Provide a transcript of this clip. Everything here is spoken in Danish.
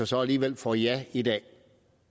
så alligevel får et ja i dag